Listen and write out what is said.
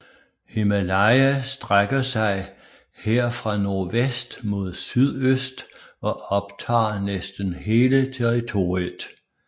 Himalaya strækker sig her fra nordvest mod sydøst og optager næsten hele territoriet